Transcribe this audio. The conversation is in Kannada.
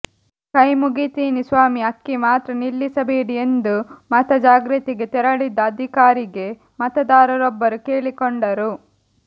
ಕೈ ಮುಗಿತೀನಿ ಸ್ವಾಮಿ ಅಕ್ಕಿ ಮಾತ್ರ ನಿಲ್ಲಿಸಬೇಡಿ ಎಂದು ಮತ ಜಾಗೃತಿಗೆ ತೆರಳಿದ್ದ ಅಧಿಕಾರಿಗೆ ಮತದಾರರೊಬ್ಬರು ಕೇಳಿಕೊಂಡರು